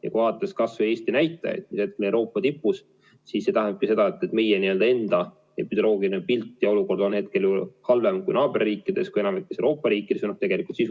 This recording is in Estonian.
Ja kui vaadata Eesti näitajaid, mis on Euroopa tipus, siis näeme seda, et meie enda epidemioloogiline pilt ja olukord on hetkel halvem kui naaberriikides, kui enamikus Euroopa riikides või sisuliselt kõigis.